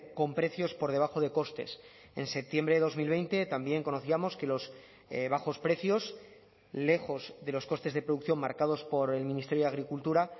con precios por debajo de costes en septiembre de dos mil veinte también conocíamos que los bajos precios lejos de los costes de producción marcados por el ministerio de agricultura